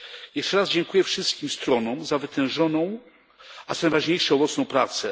Jeszcze raz dziękuję wszystkim stronom za wytężoną, a co najważniejsze, owocną pracę.